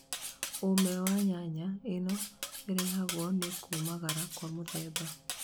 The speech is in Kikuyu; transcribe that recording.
Ũume wa nyanya - ĩno ĩrehagwo nĩ kũmagara kwa mũthemba